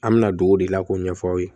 An bɛ na don o de la k'o ɲɛfɔ aw ye